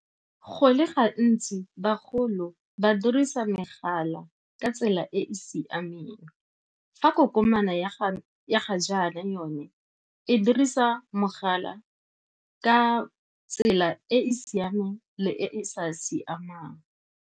Go le gantsi bagolo ba dirisa megala ka tsela e e siameng. Fa kokomane ya ga jaana yone e dirisa mogala ka tsela e e siameng le e e sa siamang.